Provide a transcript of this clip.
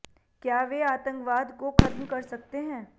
क्या वे आतंकवाद को खत्म कर सकते हैं